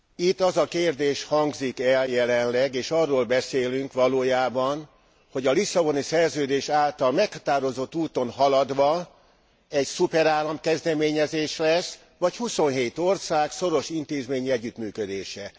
Itt az a kérdés hangzik el jelenleg, és arról beszélünk valójában, hogy a Lisszaboni Szerződés által meghatározott úton haladva egy szuperállam kezdeményezés lesz, vagy huszonhét ország szoros intézményi együttműködése.